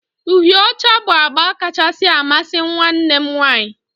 uhịe ọcha bụ agba kacha amasị nwanne m nwanyị